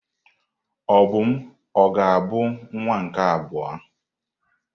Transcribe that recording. Obum ga-abụ nwa nke abụọ?